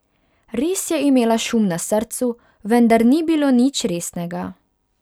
Res je imela šum na srcu, vendar ni bilo nič resnega.